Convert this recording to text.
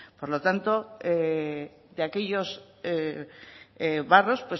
por lo tanto de aquellos barros